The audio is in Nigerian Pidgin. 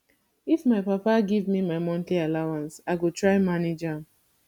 if my papa give me my monthly allowance i go try manage am